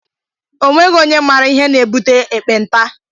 Onweghi ónyé mara ihe na-ebute ekpenta.